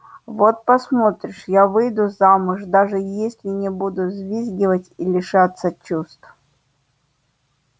вот посмотришь я выйду замуж даже если не буду взвизгивать и лишаться чувств